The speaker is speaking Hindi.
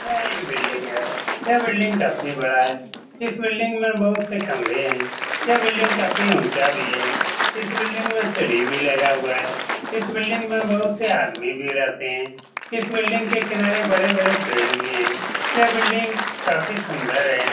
यह एक बिल्डिंग है यह बिल्डिंग काफी बडा है इस बिल्डिंग में बहुत से कमरे है यह बिल्डिंग काफी उच्चा भी है इस बिल्डिंग में सीढ़ी भी लगा हुआ है इस बिल्डिंग में बहुत से आदमी भी रहते है इस बिल्डिंग के किनारे बड़े-बड़े पेड़ भी है यह बिल्डिंग काफी सुन्दर है।